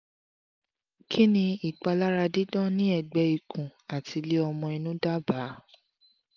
kini ipalara didan ni egbe ikun ati ile omo inu daba?